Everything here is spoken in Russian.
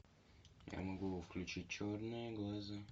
я могу включить черные глаза